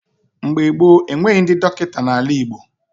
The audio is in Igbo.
Mgbe gboo, enweghị ndị dọkịta n'ala Igbo.